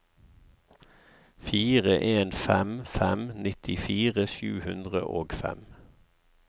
fire en fem fem nittifire sju hundre og fem